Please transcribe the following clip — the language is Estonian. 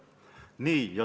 Nii.